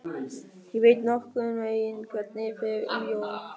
Ég veit nokkurn veginn hvernig fer um Jón.